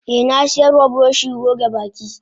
Eh nasiyarwa buroshi goge baki.